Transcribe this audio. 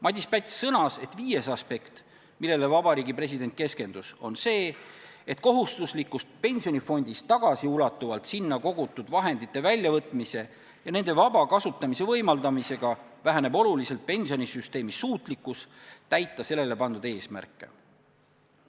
Madis Päts sõnas, et viies aspekt, millele president keskendus, on see, et kohustuslikust pensionifondist tagasiulatuvalt sinna kogutud vahendite väljavõtmise ja nende vaba kasutamise võimaldamisega väheneb oluliselt pensionisüsteemi suutlikkus täita sellele pandud eesmärke.